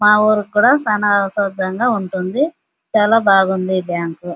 మా ఊరు కూడా చానా సౌకర్యంగా ఉంటుంది. చాలా బాగుంది ఈ బ్యాంకు .